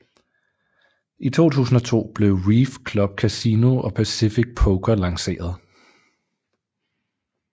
I 2002 blev Reef Club Casino og Pacific Poker lanceret